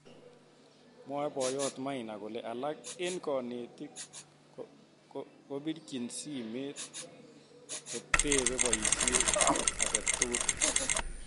Mwoe boyot Maina kole alak eng kanetik kobirchin simet kotepe boisiet age tugul.